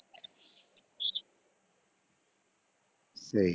ସେଇ